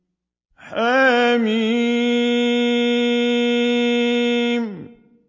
حم